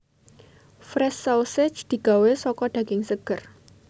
Fresh Sausage digawé saka daging seger